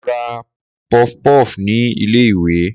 mo ra pofpof ni ilé iwe